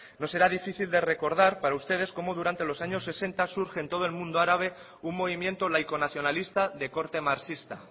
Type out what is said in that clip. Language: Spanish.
no será difícil de recordar para ustedes cómo durante los años sesenta surgen en todo el mundo árabe un movimiento laico nacionalista de corte marxista